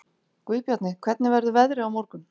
Guðbjarni, hvernig verður veðrið á morgun?